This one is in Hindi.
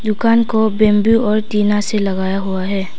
दुकान को बंबू और टीना से लगाया हुआ है।